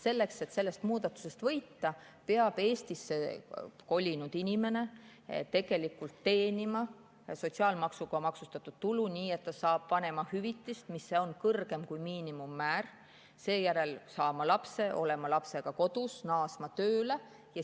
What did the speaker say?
Selleks, et sellest muudatusest võita, peab Eestisse kolinud inimene teenima sotsiaalmaksuga maksustatud tulu, nii et ta saab vanemahüvitist, mis on kõrgem kui miinimummäär, seejärel peab ta saama lapse, olema lapsega kodus ja naasma tööle.